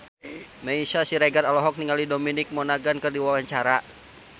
Meisya Siregar olohok ningali Dominic Monaghan keur diwawancara